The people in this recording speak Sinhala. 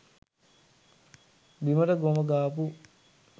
බිමට ගොම ගාපු,